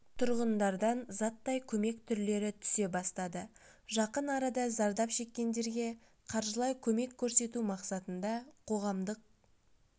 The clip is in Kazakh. тұрғындардан заттай көмек түрлері түсе бастады жақын арада зардап шеккендерге қаржылай көмек көрсету мақсатында қоғамдық